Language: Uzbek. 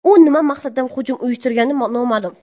U nima maqsadda hujum uyushtirgani noma’lum.